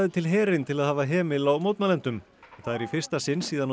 til herinn til að hafa hemil á mótmælendum það er í fyrsta sinn síðan á